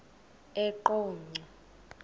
eqonco